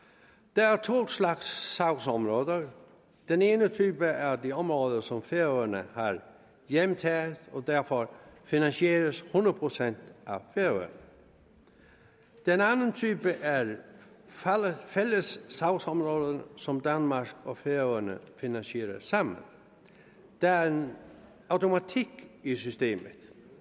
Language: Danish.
der er to slags sagsområder den ene type er de områder som færøerne har hjemtaget og som derfor finansieres hundrede procent af færøerne den anden type er de fælles sagsområder som danmark og færøerne finansierer sammen der er en automatik i systemet